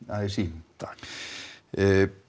a s í